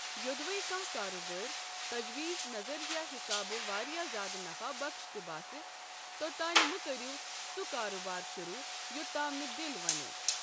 یو٘دوے کانٛہہ کارٕبٲرِ تجویٖز نظرِیہ حِسابہٕ واریاہ زیادٕ نفع بخش تہِ باسہِ، توٚتانۍ مہٕ كرِیو سہ كاربار شروٗع یوٚتام نہٕ دِل ونِوٕ۔